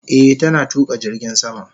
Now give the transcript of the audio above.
Eh, tana tuka jirgin sama.